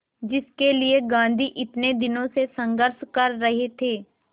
जिसके लिए गांधी इतने दिनों से संघर्ष कर रहे थे